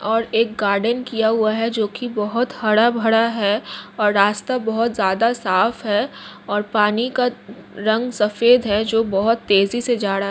और एक गार्डन किया हुआ है जो की बहुत हरा- भरा है और रास्ता बहुत ज्यादा साफ़ है और पानी का रंग सफ़ेद है जो बहुत तेजी से जा रहा--